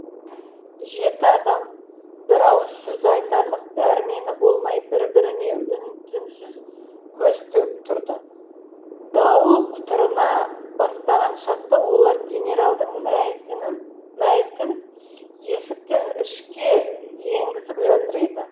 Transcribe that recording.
жеті адам бір ауыз сөз айтарлық дәрмені болмай бір біріне үн түнсіз көз тігіп тұрды дауыл құтырына бастаған шақта олар генералдың мәйітін есіктен ішке енгізіп жатыр еді